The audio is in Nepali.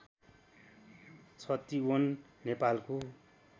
छतिवन नेपालको